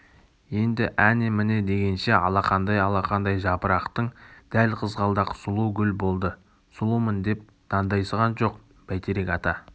енді әні-міне дегенше алақандай-алақандай жапырақтың дәл қызғалдақ сұлу гүл болды сұлумын деп дандайсыған жоқ бәйтерек ата